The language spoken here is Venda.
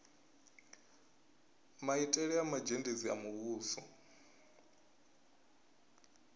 maitele a mazhendedzi a muvhuso